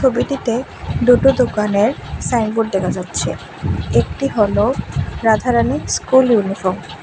ছবিটিতে দুটো দোকানের সাইনবোর্ড দেখা যাচ্ছে একটি হলো রাধারানী স্কুল ইউনিফ্রম ।